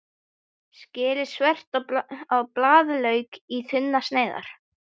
Skerið þvert á blaðlauk í þunnar sneiðar.